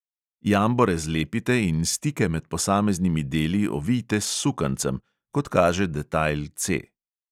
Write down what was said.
Jambore zlepite in stike med posameznimi deli ovijte s sukancem, kot kaže detajl C.